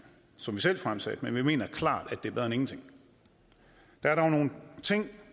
som vi selv fremsatte men vi mener klart at det er bedre end ingenting der er dog nogle ting